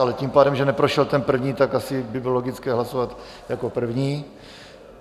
Ale tím pádem, že neprošel ten první, tak asi by bylo logické hlasovat jako první.